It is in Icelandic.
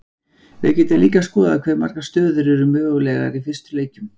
Við getum líka skoðað hve margar stöður eru mögulegar í fyrstu leikjum.